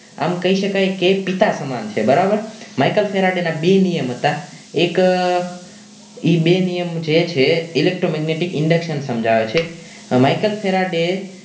આમ કહી શકાય કે પિતા સમાન છે બરાબર Michael Faraday ના બે નિયમ હતા એક એ બે નિયમ જે છે electromagnetic induction સમજાવે છે Michael Faraday